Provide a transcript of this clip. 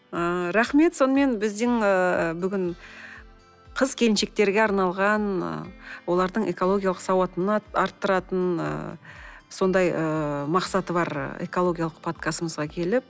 ыыы рахмет сонымен біздің бүгін қыз келіншектерге арналған олардың экологиялық сауатын арттыратын ы сондай ы мақсаты бар экологиялық подкастымызға келіп